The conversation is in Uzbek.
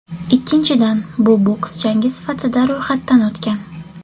Ikkinchidan, bu boks jangi sifatida ro‘yxatdan o‘tgan.